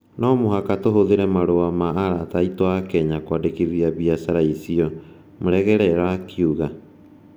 No mũhaka tũhũthĩre marũa ma arata aitũ a Kenya kwandikithia biacara icio", Muregerera akiuga.